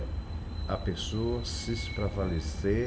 É a pessoa se espravalecer